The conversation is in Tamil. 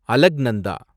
அலக்நந்தா